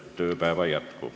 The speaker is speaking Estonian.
Istungi lõpp kell 10.33.